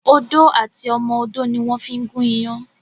Odó àti ọmọ odó ni wón fí ń gún iyán